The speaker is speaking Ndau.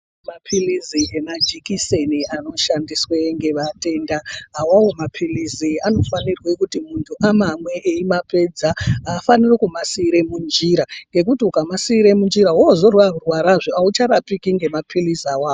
Mapilizi nemajekiseni anoshandiswe ngevatenda awawo mapilizi anofanirwe kuti muntu amamwe eimapedza aafaniri kumasiire munjira. Ngekuti ukamasiire munjira woozorwarazve aucharapiki ngemapilizi awawo.